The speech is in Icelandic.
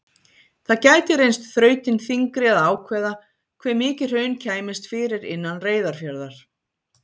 Það gæti reynst þrautin þyngri að ákvarða hve mikið hraun kæmist fyrir innan Reyðarfjarðar.